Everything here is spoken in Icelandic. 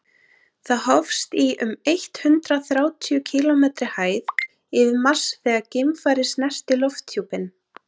það hófst í um eitt hundruð þrjátíu kílómetri hæð yfir mars þegar geimfarið snerti lofthjúpinn